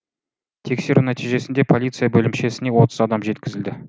тексеру нәтижесінде полиция бөлімшесіне отыз адам жеткізілді